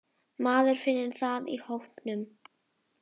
Maður finnur það í hópnum.